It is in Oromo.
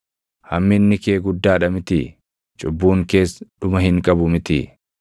Hamminni kee guddaa dha mitii? Cubbuun kees dhuma hin qabu mitii?